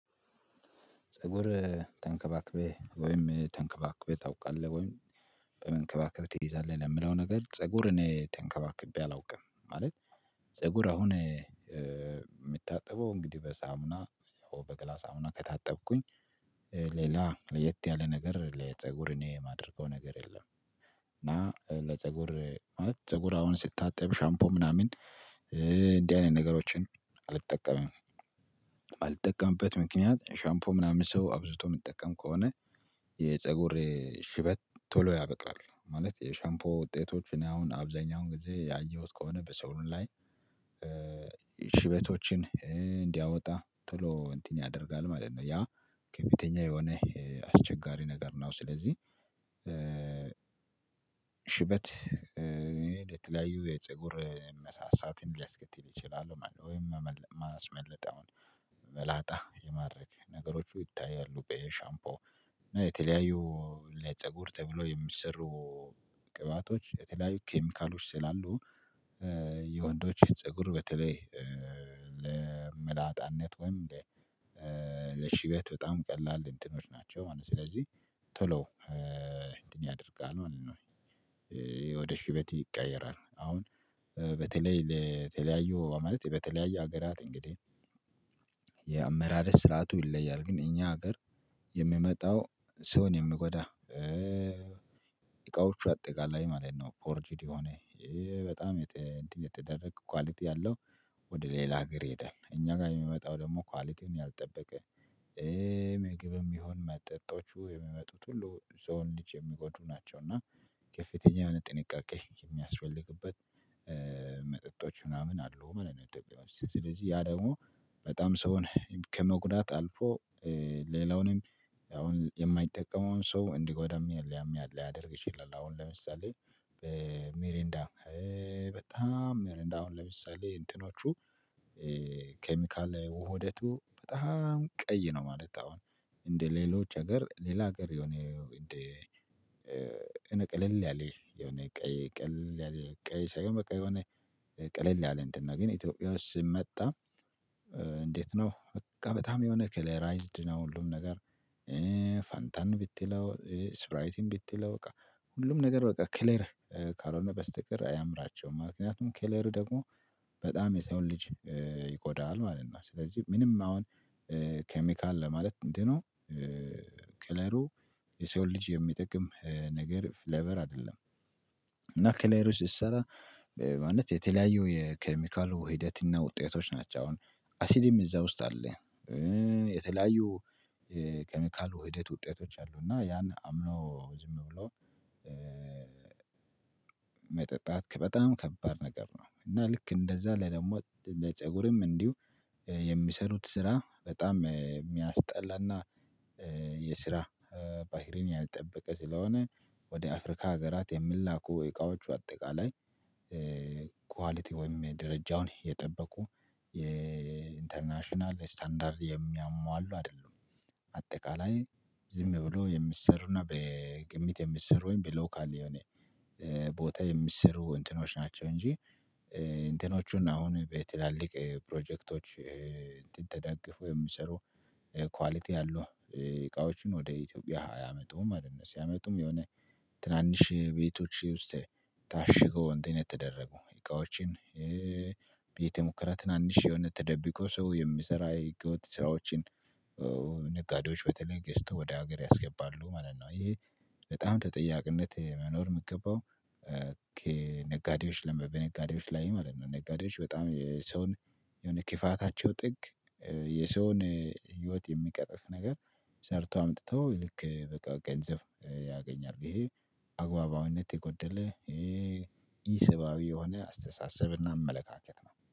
ፀጉር ተንከባክበህ ወይም ተንከባክበህ ታውቃለህ ወይም በመንከባከብ ትይዛለህ ለምለው ነገር ፀጉር እኔ ተንከባክቤ አላውቅም። ማለት ፀጉር አሁን የምታጥበው እንግዲህ በሳሙና በገላ ሳሙና ከታጠብኩኝ ሌላ ለየት ያለ ነገር ለፀጉር እኔ የማደርገው ነገር የለም። እና ለፀጉር ማለት ፀጉር አሁን ስታጠብ ሻምፖ ምናምን እንዲህ አይነት ነገሮችን አልጠቀምም። የማልጠቀምበት ምክንያት ሻምፖ ምናምን ሰው አብዝቶ የሚጠቀም ከሆነ የፀጉሬ ሽበት ቶሎ ያበላል። ማለት የሻምፖ ውጤቶች እኔ አሁን አብዛኛውን ጊዜ ያየሁት ከሆነ በሰው ላይ ሽበቶችን እንዲያወጣ ቶሎ እንትን ያደርጋል ማለት ነው። ያ ከቤተኛ የሆነ አስቸጋሪ ነገር ነው። ስለዚህ ሽበት ለተለያዩ የፀጉር መሳሳት ሊያስከትል ይችላል ማለት ነው። ወይም ሚያስመልጠውን መላጣ የማድረግ ነገሮች ይታያሉ። በሻምፖ እና የተለያዩ ለፀጉር ተብሎ የሚሰሩ ቅባቶች የተለያዩ ኬሚካሎች ስላሉ የወንዶች ፀጉር በተለይ ለመላጣነት ወይም ለሽበት በጣም ቀላል እንትኖች ናቸው ማለት ነው። ስለዚህ ቶሎ እንትን ያደርጋል ማለት ነው። ወደ ሽበት ይቀየራል አሁን በተለይ ለተለያዩ ማለት በተለያዩ ሀገራት እንግዲህ የአመራት ስርዓቱ ይለያል። ግን የኛ ሀገር የሚመጣው ሰውን የሚጎዳ እቃዎቹ አጠቃላይ ማለት ነው። ፎርጂድ የሆነ በጣም እንትን የተደረገ ኳሊቲ ያለው ወደ ሌላ ሀገር ይሄዳል። እኛ ጋር የሚመጣው ደግሞ ኳሊቲውን ያልጠበቀ ምግብም ይሁን መጠጦቹ የሚመጡት ሁሉ የሰውን ልጅ የሚጎዱ ናቸው። እና ከፍተኛ የሆነ ጥንቃቄ የሚያስፈልግበት መጠጦች ምናምን አሉ ማለት ነው። ኢትዮጵያ ውስጥ ስለዚህ ያ ደግሞ በጣም ሰውን ከመጉዳት አልፎ ሌላውንም አሁን የማይጠቀመውን ሰው እንዲጎዳም ሊያደርግ ይችላል። አሁን ለምሳሌ ሜሪንዳ በጣም ሜሪንዳ አሁን ለምሳሌ እንትኖቹ ኬሚካል ላይ ውህደቱ በጣም ቀይ ነው። ማለት አሁን እንደ ሌሎች ሀገር ሌላ ሀገር የሆነ እንደ እንዴ ቀለል ያለ የሆነ ቀይ ቀለል ያለ ቀይ ሳይሆን በቃ የሆነ ቀለል ያለ እንትን ነው። ግን ኢትዮጵያ ውስጥ ሲመጣ እንዴት ነው? በቃ በጣም የሆነ ከለራይዝድ ነው። ሁሉም ነገር ፋንታን ብትለው ስፕራይት ብትለው በቃ ሁሉም ነገር በቃ ከለር ካልሆነ በስተቀር አያምራቸውም ማለት ነው። ከለር ደግሞ በጣም የሰውን ልጅ ይጎዳል ማለት ነው። ስለዚህ ምንም አሁን ኬሚካል ለማለት ምንድን ነው? ከለሩ የሰውን ልጅ የሚጠቅም ነገር ፍሌቨር አይደለም። እና ከለሩ ሲሰራ ማለት የተለያዩ የኬሚካሉ ሂደት እና ውጤቶች ናቸው። አሁን አሲድም እዛ ውስጥ አለ። የተለያዩ ኬሚካል ውህደት ውጤቶች አሉ። እና ያን አምኖ ዝም ብሎ መጠጣት ከበጣም ከባድ ነገር ነው። እና ልክ እንደዛ ለደግሞ ለፀጉርም እንዲሁ የሚሰሩት ስራ በጣም የሚያስጠላና የስራ ባህሪን ያልጠበቀ ስለሆነ። ወደ አፍሪካ ሀገራት የሚላኩ እቃዎች በአጠቃላይ ኳሊቲ ወይም የደረጃውን የጠበቁ የኢንተርናሽናል ስታንዳርድ የሚያሟሉ አይደሉም። አጠቃላይ ዝም ብሎ የሚሰሩና በግምት የሚሰሩ ወይም በሎካል የሆነ ቦታ የሚሰሩ እንትኖች ናቸው። እንጂ እንትኖቹን አሁን በትላልቅ ፕሮጀክቶች እንትን ተደግፈው የሚሰሩ ኳሊቲ ያለው እቃዎችን ወደ ኢትዮጵያ ያመጡም ማለት ነው። ሲያመጡም የሆነ ትናንሽ ቤቶች ውስጥ ታሽገው እንትን የተደረጉ እቃዎችን። ቤተ ሙከራ ትናንሽ የሆነ ተደብቆ ሰው የሚሰራ የህገ ወጥ ስራዎችን። ነጋዴዎች በተለይ ገዝተው ወደ ሀገር ያስገባሉ ማለት ነው። ይሄ በጣም ተጠያቂነት መኖር የምገባው ነጋዴዎች በነጋዴዎች ላይ ማለት ነው። ነጋዴዎች በጣም የሰውን የሆነ የክፋታቸው ጥግ የሰውን ህይወት የሚቀጥፍ ነገር ሰርተው አምጥተው ልክ በቃ ገንዘብ ያገኛል ይሄ አግባባዊነት የጎደለ ኢሰባዊ የሆነ አስተሳሰብና አመለካከት ነው